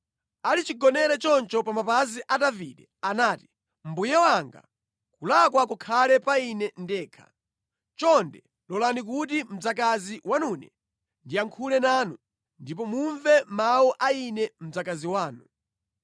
Ali chigonere choncho pa mapazi a Davide anati, “Mbuye wanga, kulakwa kukhale pa ine ndekha. Chonde lolani kuti mdzakazi wanune ndiyankhule nanu, ndipo mumve mawu a ine mdzakazi wanu.